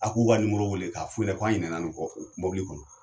A k'u nimoro wele k'a f'u ɲɛnɛ k'an ɲina nin kɔ o mobili kɔnɔ.